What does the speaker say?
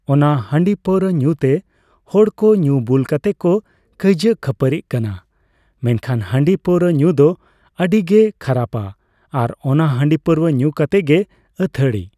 ᱚᱱᱟ ᱦᱟᱸᱰᱤ ᱯᱟᱹᱣᱨᱟᱹ ᱧᱩ ᱛᱮ ᱦᱚᱲ ᱠᱚ ᱧᱩ ᱵᱩᱞ ᱠᱟᱛᱮᱫ ᱠᱚ ᱠᱟᱹᱭᱡᱟᱹ ᱠᱷᱟᱹᱯᱟᱹᱨᱤᱜ ᱠᱟᱱᱟ ᱾ᱢᱮᱱᱠᱷᱟᱱ ᱦᱟᱸᱰᱤ ᱯᱟᱹᱣᱨᱟᱹ ᱧᱩ ᱫᱚ ᱟᱹᱰᱤ ᱜᱮ ᱠᱷᱟᱨᱟᱯᱼᱟ ᱾ ᱟᱨ ᱚᱱᱟ ᱦᱟᱸᱰᱤ ᱯᱟᱹᱣᱨᱟᱹ ᱧᱩ ᱠᱟᱛᱮᱫ ᱜᱮ ᱟᱹᱛᱷᱟᱹᱲᱤ